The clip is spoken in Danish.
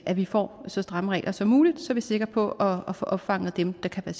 at vi får så stramme regler som muligt så vi er sikre på at få opfanget dem der kan